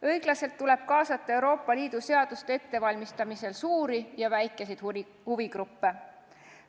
Õiglaselt tuleb kaasata Euroopa Liidu seaduste ettevalmistamisel suuri ja väikeseid huvigruppe.